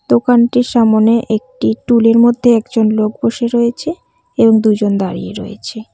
দোকানটির সামোনে একটি টুলের মধ্যে একজন লোক বসে রয়েছে এবং দুজন দাঁড়িয়ে রয়েছে।